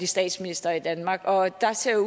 statsminister i danmark og der ser